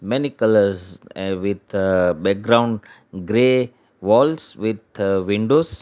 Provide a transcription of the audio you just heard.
many colours with background grey walls with windows.